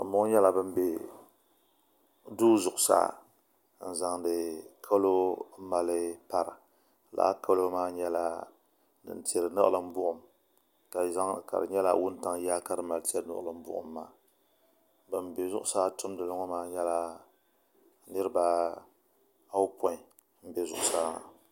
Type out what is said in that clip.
Bani bɔŋɔ nyɛla bani bɛ duu zuɣusaa n zaŋdi kalo n mali para lala mali maa nyɛla din tiri niɣilimbuɣim la di nyɛla wuntaŋ yaa ka di mali tiri niɣilimbuɣim maa Bani bɛ zuɣusaa tumdili ŋɔ maa nyɛla miriba ayopɔin m bɛ zuɣusaa.